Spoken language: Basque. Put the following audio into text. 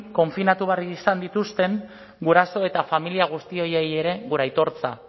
konfinatu behar izan dituzten guraso eta familia guztiei ere gure aitortza